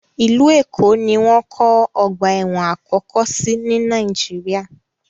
Ìlú Èkó ni wọ́n kọ́ ọ̀gba ẹ̀wọ̀n àkọ́kọ́ sí ní Nàìjíríà.